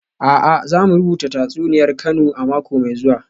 A'a, za mu rubuta tatsuniyar Kano a mako mai zuwa